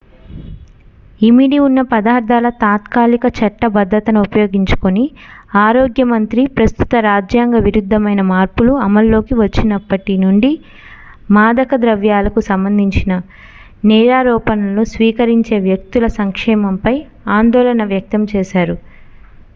ఇమిడి ఉన్న పదార్థాల తాత్కాలిక చట్టబద్ధతను ఉపయోగించుకుని ఆరోగ్య మంత్రి ప్రస్తుత రాజ్యాంగ విరుద్ధమైన మార్పులు అమల్లోకి వచ్చినప్పటి నుండి మాదక ద్రవ్యాలకు సంబంధించిన నేరారోపణలను స్వీకరించే వ్యక్తుల సంక్షేమంపై ఆందోళన వ్యక్తం చేశారు